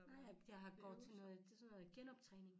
Nej jeg har går til noget det sådan noget genoptræning